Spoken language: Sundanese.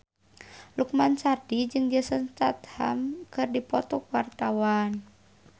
Lukman Sardi jeung Jason Statham keur dipoto ku wartawan